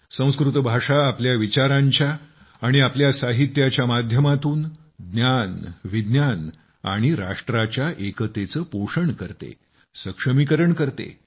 संस्कृत भाषा आपल्या विचारांच्या आणि आपल्या साहित्याच्या माध्यमातून ज्ञानविज्ञान आणि राष्ट्राच्या एकतेचं पोषण करते सक्षमीकरण करते